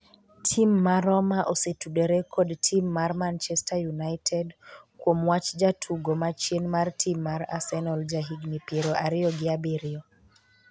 Tim ma Roma osetudore kod tim mar Man chester United kuom wach jatugo ma chien mar tim mar Arsenal ja higni piero ariyo gi abiriyo